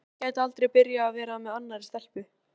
Lúlli gæti aldrei byrjað að vera með annarri stelpu.